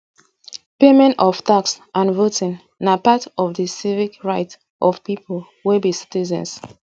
payment of tax and voting na part of di civic rights of pipo wey be citizens